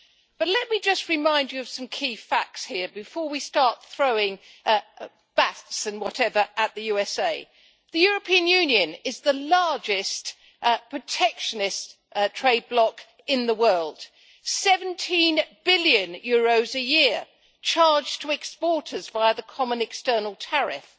But let me just remind you of some key facts here before we start throwing bats and whatever at the USA. The European Union is the largest protectionist trade block in the world EUR 17 billion a year charged to exporters via the common external tariff.